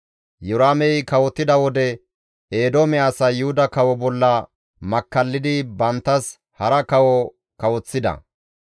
Iyoraamey kawotida wode Eedoome asay Yuhuda kawo bolla makkallidi banttas hara kawo kawoththida.